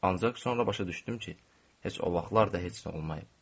Ancaq sonra başa düşdüm ki, heç o vaxtlar da heç nə olmayıb.